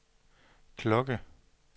klokke